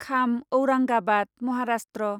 Kham Aurangabad Maharashtra